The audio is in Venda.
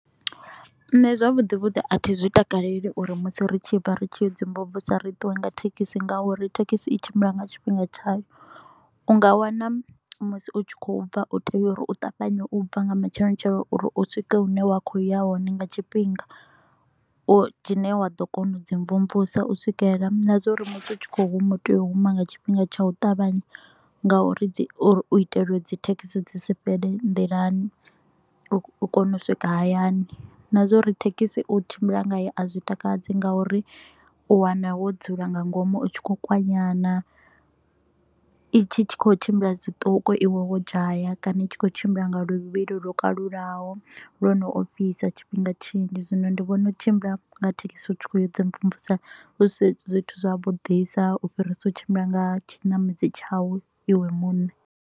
Nṋe zwavhuḓi vhuḓi a thi zwi takaleli u ri musi ri tshi bva ri tshi ya u ḓi mvumvusa ri ṱuwe nga thekhisi ngauri thekhisi i tshimbila nga tshifhinga tshayo. U nga wana musi u tshi kho u bva u tea u ri u ṱavhanye u bva nga matsheloni tsheloni u ri u swike hune wa kho u ya hone nga tshifhinga. U dzhene wa ḓo kona u dzi mvumvusa u swikela na zwa uri musi u tshi kho u huma tea u huma nga tshifhinga tsha u ṱavhanya ngauri dzi u ri itela u ri dzithekhisi dzi si fhele nḓilani, u kone u swika hayani. Na zwa u ri thekhisi u tshimbila ngayo a zwi takadzi ngauri u wana wo dzula nga ngomu u tshi kho u kwanyana, i tshi kho u tshimbila zwiṱuku iwe wo dzhaya kana i tshi kho u tshimbila nga luvhilo lwo kalulaho lwo no ofhisa tshifhinga tshinzhi. Zwino ndi vhona u tshimbila nga thekhisi hu tshi kho u ya u di mvumvusa hu si zwithu zwa vhudisa u fhirisa u tshimbila nga tshinamedzi tshau iwe muṋe.